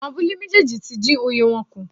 Àwọn abúlé méjèèjì tí dín oye wọn kù.